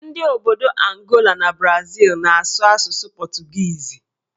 Ndị obodo Angola na Brazịl na-asụ asụsụ pọtụgiizi